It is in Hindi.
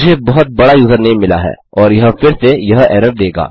मुझे बहुत बड़ा यूज़रनेम मिला है और यह फिर से यह एरर देगा